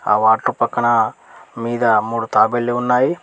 ఆ వాటర్ పక్కన మీద మూడు తాబేళ్లు ఉన్నాయి.